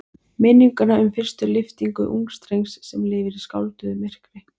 Minninguna um fyrstu lyftingu ungs drengs sem lifir í skálduðu myrkri.